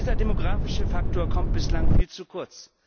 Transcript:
Dieser demografische Faktor kommt bislang viel zu kurz.